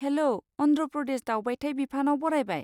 हेल', अन्ध्र प्रदेश दावबायथाय बिफानाव बरायबाय।